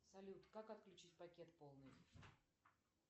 салют как отключить пакет полный